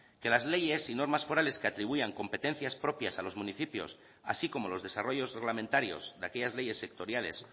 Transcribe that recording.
que las leyes y normas forales que atribuían competencias propias a los municipios así como los desarrollos reglamentarios de aquellas leyes sectoriales